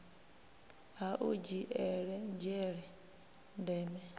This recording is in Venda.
ha u dzhiele nzhele ndeme